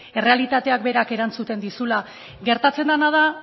errealitateak berak erantzuten dizula gertatzen dena da